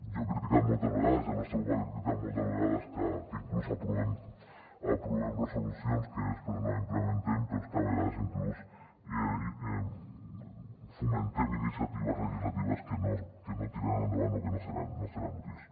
jo he criticat moltes vegades i el nostre grup ha criticat moltes vegades que inclús aprovem resolucions que després no implementem però és que a vegades inclús fomentem iniciatives legislatives que no tiraran endavant o que no seran útils